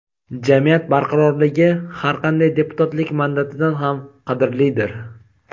jamiyat barqarorligi har qanday deputatlik mandatidan ham qadrlidir.